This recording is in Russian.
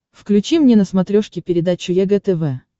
включи мне на смотрешке передачу егэ тв